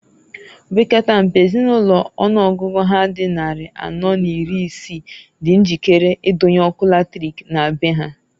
Opekata mpe Ezinulo ọnụọgụ ha dị nnarị anọọ n'iri isii di njikere idonye ọkụ latrik na be ha.